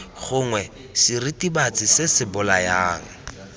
gongwe seritibatsi se se bolayang